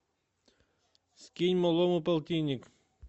скинь малому полтинник